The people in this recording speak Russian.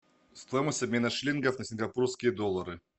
стоимость обмена шиллингов на сингапурские доллары